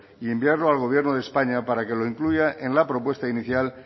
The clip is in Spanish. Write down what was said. y enviarlo al gobierno de españa para que lo incluya en la propuesta inicial